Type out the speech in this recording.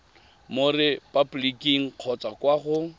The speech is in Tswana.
mo repaboliking kgotsa kwa go